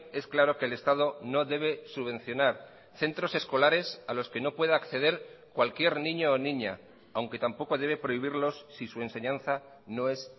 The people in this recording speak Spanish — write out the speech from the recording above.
es claro que el estado no debe subvencionar centros escolares a los que no pueda acceder cualquier niño o niña aunque tampoco debe prohibirlos si su enseñanza no es